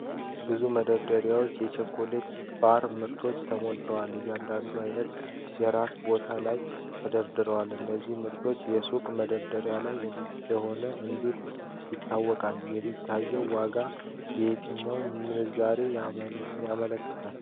ብዙ መደርደሪያዎች የቸኮሌት ባር ምርቶች ተሞልተዋል። እያንዳንዱ አይነት የራሱ ቦታ ላይ ተደርድሯል። እነዚህ ምርቶች የሱቅ መደርደሪያ ላይ እንደሆኑ እንዴት ይታወቃል? የሚታዩት ዋጋዎች የትኛውን ምንዛሪ ያመለክታሉ?